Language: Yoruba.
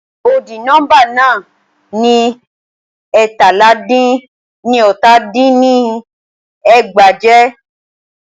Ọdì nọ́mbà náà ni ẹ́ẹ̀tàlá dín ní ọta dín ní ẹgbàá jẹ́.